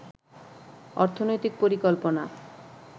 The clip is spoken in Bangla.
অর্থনৈতিক পরিকল্পনা